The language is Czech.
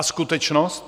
A skutečnost?